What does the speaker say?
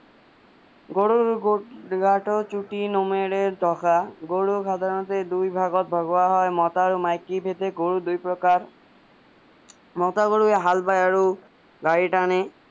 গৰুৰ গাটো চুতি নোমেৰে ধকা গৰুৰ সাধাৰণতে দুই ভাগত ভগোৱা হয় মতা আৰু মাইকী ভেদে গৰু দুই প্ৰকাৰ মতা গৰুৱে হাল বাই আৰু গাড়ী তানে